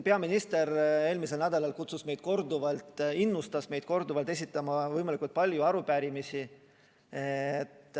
Peaminister eelmisel nädalal innustas meid korduvalt esitama võimalikult palju arupärimisi.